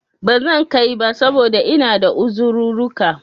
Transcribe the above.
Bazan kai ba, saboda ina da uzirurruka